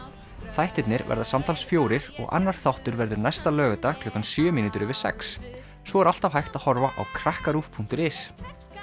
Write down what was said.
þættirnir verða alls fjórir og annar þáttur verður næsta laugardag klukkan sjö mínútur yfir sex svo er alltaf hægt að horfa á krakkaruv punktur is